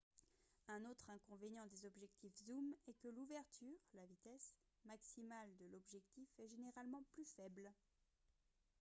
un autre inconvénient des objectifs zooms est que l’ouverture la vitesse maximale de l’objectif est généralement plus faible